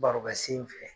Barokɛ sen fɛ